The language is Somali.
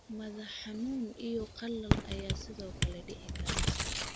Madax xanuun iyo qalal ayaa sidoo kale dhici kara.